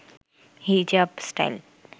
হিজাব স্টাইল